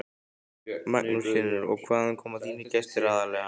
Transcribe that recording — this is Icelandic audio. Magnús Hlynur: Og hvaðan koma þínir gestir aðallega?